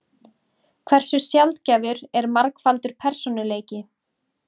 Hversu sjaldgæfur er margfaldur persónuleiki?